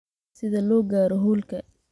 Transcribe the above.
sida loo gaaro hoolka